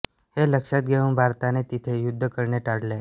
हे लक्षात घेऊन भारताने तिथे युद्ध करणे टाळले